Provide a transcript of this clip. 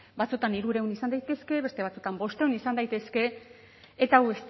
batzuetan hirurehun izan daitezke beste batzuetan bostehun izan daitezke eta hau